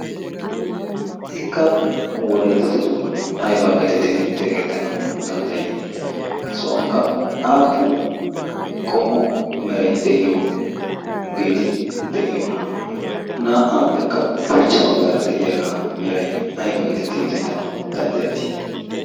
ikka wollayttatto doonanaybaa gettettidi xeessettanawu dandayii? ha sohuwaankka aappun qommo meray de'iyoogeti de'iyoonaa. na"aappekka ushshacha baggaara de'iyaagaa meray ayba getttidi yoottettanawu danddayettii?